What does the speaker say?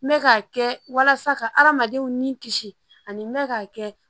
N bɛ k'a kɛ walasa ka adamadenw ni kisi ani mɛ k'a kɛ